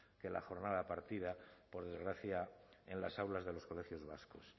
que la jornada partida por desgracia en las aulas de los colegios vascos